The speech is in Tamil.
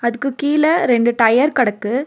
அதுக்கு கீழ ரெண்டு டயர் கடக்கு.